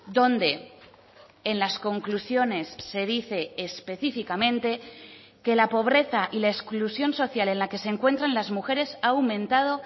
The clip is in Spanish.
donde en las conclusiones se dice específicamente que la pobreza y la exclusión social en la que se encuentran las mujeres ha aumentado